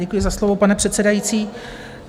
Děkuji za slovo, pane předsedající.